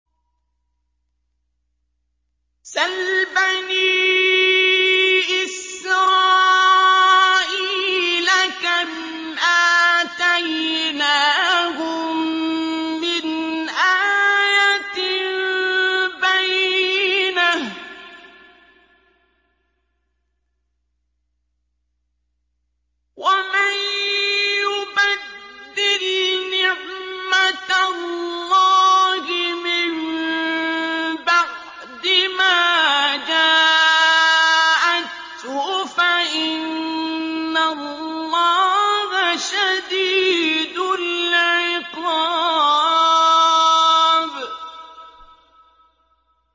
سَلْ بَنِي إِسْرَائِيلَ كَمْ آتَيْنَاهُم مِّنْ آيَةٍ بَيِّنَةٍ ۗ وَمَن يُبَدِّلْ نِعْمَةَ اللَّهِ مِن بَعْدِ مَا جَاءَتْهُ فَإِنَّ اللَّهَ شَدِيدُ الْعِقَابِ